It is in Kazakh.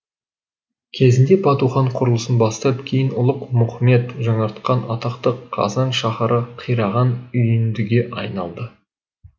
кезінде бату хан құрылысын бастап кейін ұлық мұхмед жаңартқан атақты қазан шахары қираған үйіндіге айналды